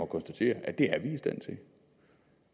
konstatere at det